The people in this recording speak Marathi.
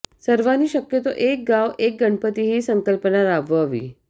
सर्वांनी शक्यतो एक गाव एक गणपती ही सन्कल्पना राबवावी